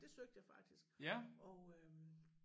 Det søgte jeg faktisk og øh